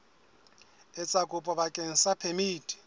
etsa kopo bakeng sa phemiti